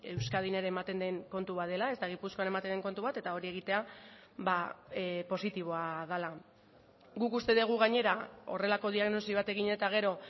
euskadin ere ematen den kontu bat dela ez da gipuzkoan ematen den kontu bat eta hori egitea positiboa dela guk uste dugu gainera horrelako diagnosi bat egin eta gero